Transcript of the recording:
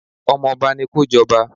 Ọmọba ni kó jọba.